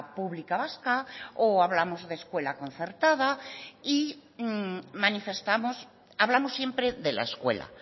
pública vasca o hablamos de escuela concertada y manifestamos hablamos siempre de la escuela